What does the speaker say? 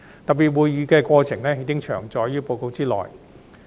特別會議的過程已詳載於報告內。